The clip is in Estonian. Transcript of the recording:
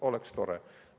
Oleks tore!